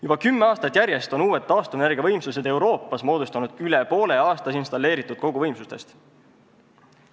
Juba kümme aastat järjest on uued taastuvenergiavõimsused Euroopas moodustanud üle poole aastas installeeritud koguvõimsustest.